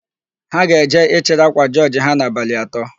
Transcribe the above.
Ha ga-eje ịchịrị ákwà jọọjị ha n'abalị atọ.